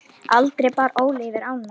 Aldrei bar Óli yfir ána.